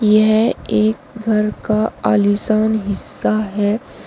यह एक घर का आलीशान हिस्सा है।